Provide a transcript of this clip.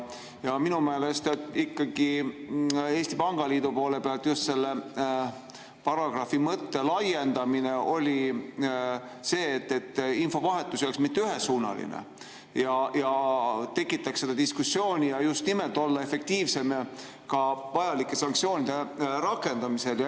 Minu meelest Eesti Pangaliidu poole pealt paragrahvi laiendamise mõte oli see, et infovahetus ei oleks mitte ühesuunaline ja tekitaks diskussiooni, et just nimelt olla efektiivsem ka vajalike sanktsioonide rakendamisel.